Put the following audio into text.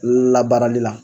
Labaaralila.